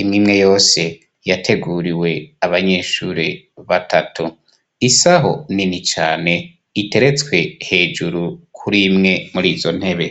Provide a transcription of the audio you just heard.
imwimwe yose yateguriwe abanyeshure batatu isaho nini cane iteretswe hejuru kurimwe muri izo ntebe